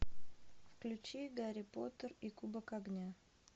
включи гарри поттер и кубок огня